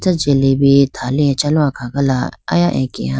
jalebi thali achalo akhagala aya akeya.